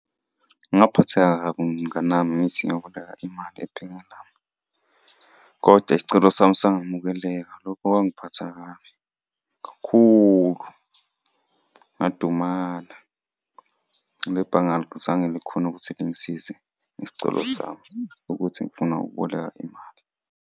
Ngaphatheka kabi mnganami ngithi ngiyoboleka imali , koda isicelo sami asangamukeleka, lokho kwangiphatha kabi kakhulu, ngadumala. Nebhange alizange likhone ukuthi lingisize isicelo sami ukuthi ngifuna ukuboleka imali.